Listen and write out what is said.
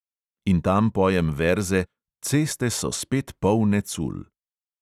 In tam pojem verze: ceste so spet polne cul.